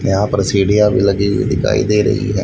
यहां पर सिढियां भी लगी हुई दिखाई दे रही है।